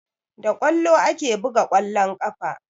Da ƙwallo ake buga ƙwallon ƙafa